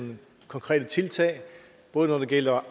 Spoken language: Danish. konkrete tiltag både når det gælder